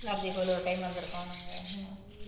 பார்த்தசாரதி கோவில் ஒரு time வந்திருக்கோம் நாங்க